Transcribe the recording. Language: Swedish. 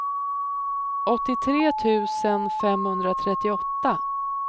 åttiotre tusen femhundratrettioåtta